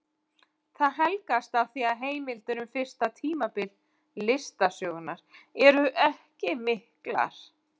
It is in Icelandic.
Það helgast af því að heimildir um fyrsta tímabil listasögunnar eru ekki miklar.